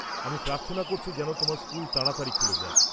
আমি প্রার্থনা করছি যেন তোমার স্কুল তাড়াতাড়ি খুলে যায়।